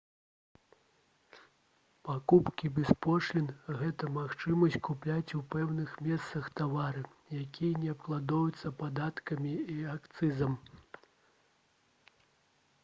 пакупкі без пошлін гэта магчымасць купляць у пэўных месцах тавары якія не абкладаюцца падаткамі і акцызам